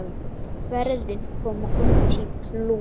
Ferðin kom út í plús.